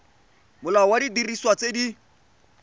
molao wa didiriswa tse di